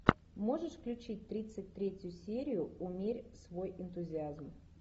можешь включить тридцать третью серию умерь свой энтузиазм